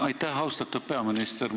Aitäh, austatud peaminister!